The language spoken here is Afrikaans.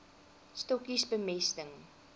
stokkies bemesting